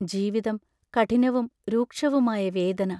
ജീവിതം; കഠിനവും രൂക്ഷവുമായ വേദന.